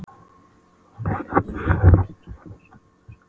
Ótti hans umturnaðist í bræði og hann rak upp öskur.